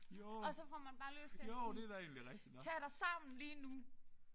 Og så får man bare lyst til at sige tag dig sammen lige nu!